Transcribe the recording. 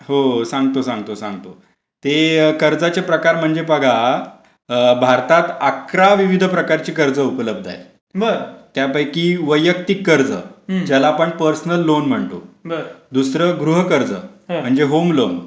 हो सांगतो सांगतो ते कर्जाचे प्रकार म्हणजे बघा भारतात अकरा विविध प्रकारची कर्ज उपलब्ध आहे त्यापैकी वैयक्तिक कर्ज ज्याला आपण पर्सनल लोन म्हणतो दुसरा गृह कर्ज म्हणजे होम लोन